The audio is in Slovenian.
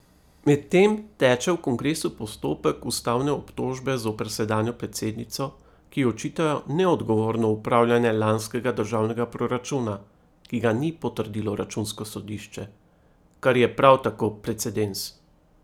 Medtem teče v kongresu postopek ustavne obtožbe zoper sedanjo predsednico, ki ji očitajo neodgovorno upravljanje lanskega državnega proračuna, ki ga ni potrdilo računsko sodišče, kar je prav tako precedens.